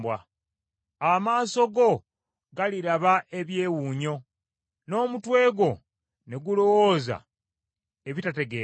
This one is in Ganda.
Amaaso go galiraba ebyewuunyo, n’omutwe gwo ne gulowooza ebitategeerekeka.